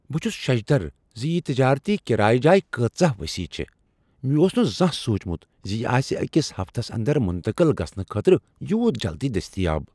بہٕ چھس ششدر ز یہ تجٲرتی کرایہ جاے کٲژاہ وسیع چھےٚ۔ مےٚ اوس نہٕ زانٛہہ سوچمت ز یہ آسہ أکس ہفتس اندر منتقل گژھنہٕ خٲطرٕ یوٗت جلدی دستیاب۔